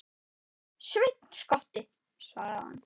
Sveinn skotti, svaraði hann.